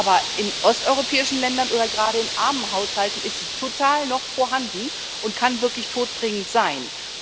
Aber in osteuropäischen Ländern oder gerade in armen Haushalten ist sie noch total vorhanden und kann wirklich todbringend sein.